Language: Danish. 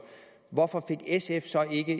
hvorfor fik sf så ikke